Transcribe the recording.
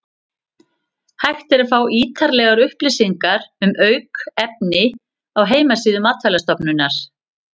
Hægt er að fá ítarlegar upplýsingar um aukefni á heimasíðu Matvælastofnunar.